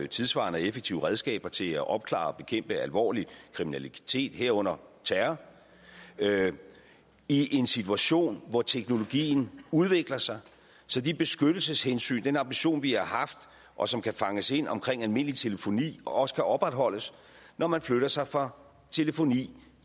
tidssvarende og effektive redskaber til at opklare og bekæmpe alvorlig kriminalitet herunder terror i en situation hvor teknologien udvikler sig så de beskyttelseshensyn den ambition vi har haft og som kan fanges ind omkring almindelig telefoni også kan opretholdes når man flytter sig fra telefoni